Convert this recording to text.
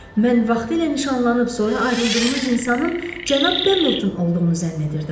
Mən vaxtilə nişanlanıb sonra ayrıldığınız insanın cənab Pendleton olduğunu zənn edirdim.